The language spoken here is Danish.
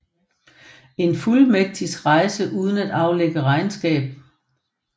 En fuldmægtigs rejste uden at aflægge regnskab